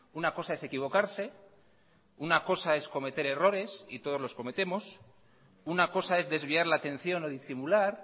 una cosa es equivocarse una cosa es cometer errores y todos los cometemos una cosa es desviar la atención o disimular